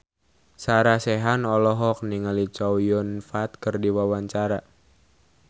Sarah Sechan olohok ningali Chow Yun Fat keur diwawancara